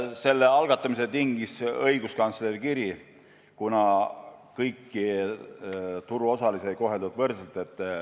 Selle algatamise tingis õiguskantsleri kiri, kuna kõiki turuosalisi ei ole koheldud võrdselt.